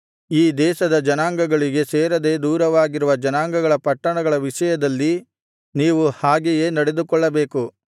ಈ ದೇಶದ ಜನಾಂಗಗಳಿಗೆ ಸೇರದೆ ದೂರವಾಗಿರುವ ಜನಾಂಗಗಳ ಪಟ್ಟಣಗಳ ವಿಷಯದಲ್ಲಿ ನೀವು ಹಾಗೆಯೇ ನಡೆದುಕೊಳ್ಳಬೇಕು